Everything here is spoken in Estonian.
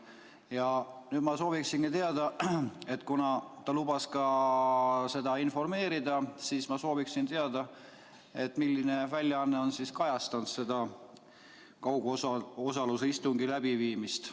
Ja nüüd, kuna ta lubas sellest informeerida, ma sooviksin teada, milline väljaanne on kajastanud seda kaugosalusega istungi läbiviimist.